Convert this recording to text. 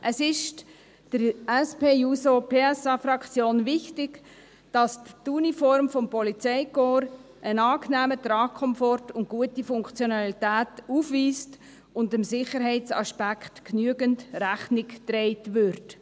Es ist der SP-JUSO-PSA-Fraktion wichtig, dass die Uniform des Polizeikorps einen angenehmen Tragkomfort und gute Funktionalität aufweist und dem Sicherheitsaspekt genügend Rechnung getragen wird.